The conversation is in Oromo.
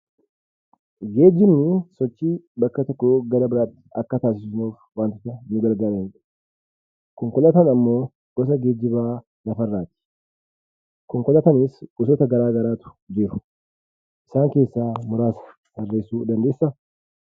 Geejjibni sochii bakka tokkoo gara biraatti akka taasisnuuf waantota nu gargaarudha. Konkolaataan ammoo gosa geejjiba lafarraati. Konkolaataanis gosoota garaa garaatu jiru. Isaan keessaa muraasa dubbachuu dandeessaa?